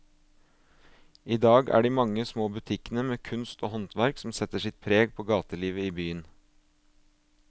I dag er det de mange små butikkene med kunst og håndverk som setter sitt preg på gatelivet i byen.